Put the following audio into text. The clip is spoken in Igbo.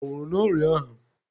Ọ nwụrụ n'ọrịa ahụ?